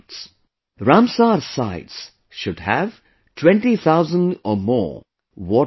Ramsar Sites should have 20,000 or more water birds